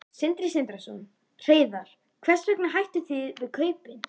Sindri Sindrason: Hreiðar hvers vegna hættuð þið við kaupin?